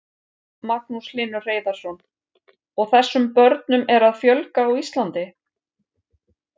Magnús Hlynur Hreiðarsson: Og þessum börnum er að fjölga á Íslandi?